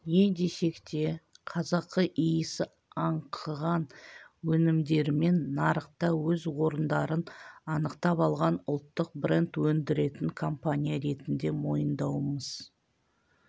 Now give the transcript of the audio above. не десек те қазақы иісі аңқыған өнімдерімен нарықта өз орындарын анықтап алған ұлттық бренд өндіретін компания ретінде мойындауымыз